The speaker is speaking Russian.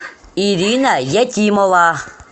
ирина якимова